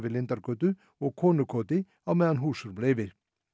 Lindargötu og á meðan húsrúm leyfi